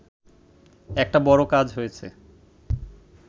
একটা বড় কাজ হয়েছে